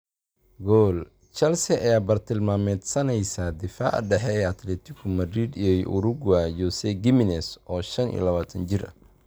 Goal) Chelsea ayaa bartilmaameedsanaysa daafaca dhexe ee Atletico Madrid iyo Uruguay Jose Gimenez, oo shaan iyo labataan jir ah.